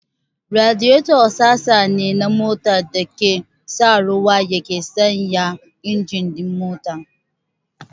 Radiyeto sassa ne na mota da ake sa ruwa yake sanyaya injin ɗin mota.